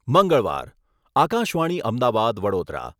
મંગળવાર, આકાશવાણી અમદાવાદ, વડોદરા.